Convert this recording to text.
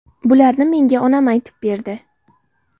Bularni menga onam aytib berdi.